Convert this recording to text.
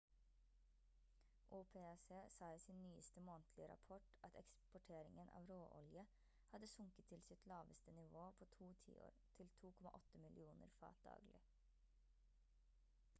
opec sa i sin nyeste månedlige rapport at eksporteringen av råolje hadde sunket til sitt laveste nivå på to tiår til 2,8 millioner fat daglig